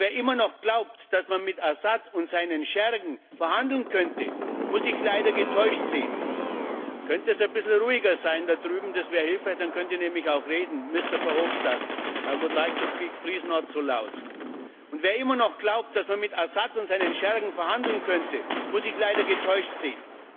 Und wer immer noch glaubt, dass man mit Assad und seinen Schergen verhandeln könnte, muss sich leider getäuscht sehen.